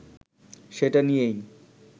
সেটা নিয়েই